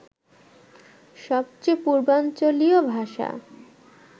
সবচেয়ে পূর্বাঞ্চলীয় ভাষা